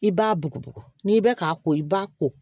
I b'a bugu n'i bɛ k'a ko i b'a ko